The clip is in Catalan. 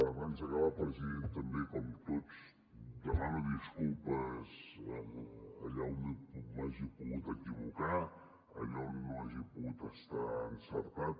abans d’acabar president també com tots demano disculpes allà on m’hagi pogut equivocar allà on no hagi pogut estar encertat